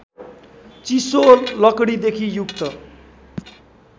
चिसो लकडीदेखि युक्त